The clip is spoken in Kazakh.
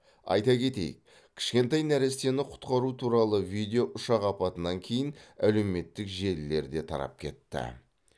айта кетейік кішкентай нәрестені құтқару туралы видео ұшақ апатынан кейін әлеуметтік желілерде тарап кетті